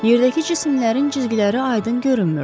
Yerdəki cisimlərin cizgiləri aydın görünmürdü.